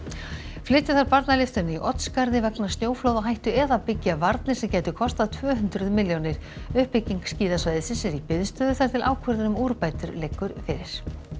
flytja þarf barnalyftuna í Oddsskarði vegna snjóflóðahættu eða byggja varnir sem gætu kostað tvö hundruð milljónir uppbygging skíðasvæðisins er í biðstöðu þar til ákvörðun um úrbætur liggur fyrir